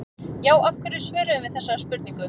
Já, af hverju svörum við þessari spurningu?